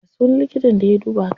Ya sunan likitan da ya duba ka?